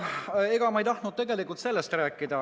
Aga ma ei tahtnud tegelikult sellest rääkida.